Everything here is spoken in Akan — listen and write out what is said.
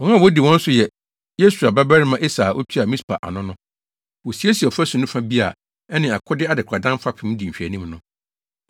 Wɔn a wodi wɔn so yɛ Yesua babarima Eser a otua Mispa ano no. Wosiesiee ɔfasu no fa bi a ɛne akode adekoradan fapem di nhwɛanim no.